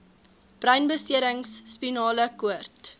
breinbeserings spinale koord